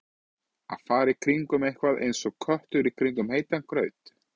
Að fara í kringum eitthvað eins og köttur í kringum heitan graut